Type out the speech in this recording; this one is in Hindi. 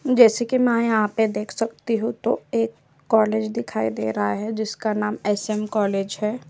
जैसे की में यहाँ पे देख सकती हूँ तो एक कॉलेज दिखाई दे रहा है जिसका नाम एस. एम. कॉलेज है।